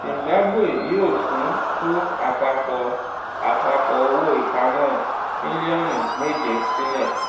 zimbabwe yóò tún tú àpapọ̀ àpapọ̀ owó-ìpamọ́ mílíọ̀nù méje sílẹ̀